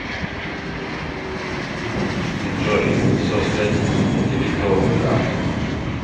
джой создать дебетовую карту